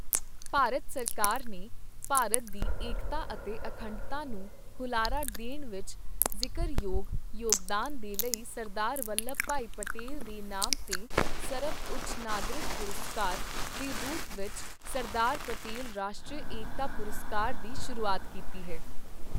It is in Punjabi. ਭਾਰਤ ਸਰਕਾਰ ਨੇ ਭਾਰਤ ਦੀ ਏਕਤਾ ਅਤੇ ਅਖੰਡਤਾ ਨੂੰ ਹੁਲਾਰਾ ਦੇਣ ਵਿੱਚ ਜ਼ਿਕਰਯੋਗ ਯੋਗਦਾਨ ਦੇ ਲਈ ਸਰਦਾਰ ਵੱਲਭ ਭਾਈ ਪਟੇਲ ਦੇ ਨਾਮ ਤੇ ਸਰਬਉੱਚ ਨਾਗਰਿਕ ਪੁਰਸਕਾਰ ਦੇ ਰੂਪ ਵਿੱਚ ਸਰਦਾਰ ਪਟੇਲ ਰਾਸ਼ਟਰੀ ਏਕਤਾ ਪੁਰਸਕਾਰ ਦੀ ਸ਼ੁਰੂਆਤ ਕੀਤੀ ਹੈ।